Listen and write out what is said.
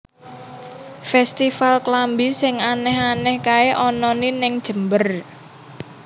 Festival klambi sing aneh aneh kae onone ning Jember